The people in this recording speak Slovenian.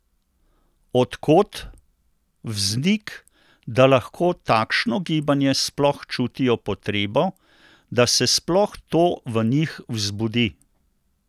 Od kod vznik, da lahko takšno gibanje sploh čutijo potrebo, da se sploh to v njih vzbudi?